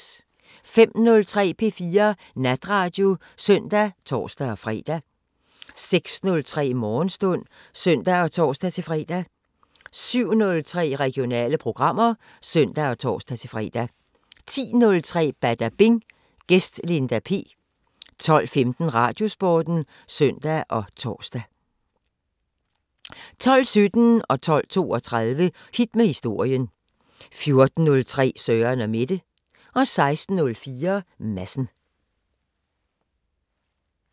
05:03: P4 Natradio (søn og tor-fre) 06:03: Morgenstund (søn og tor-fre) 07:03: Regionale programmer (søn og tor-fre) 10:03: Badabing: Gæst Linda P 12:15: Radiosporten (søn og tor) 12:17: Hit med historien 12:32: Hit med historien 14:03: Søren & Mette 16:04: Madsen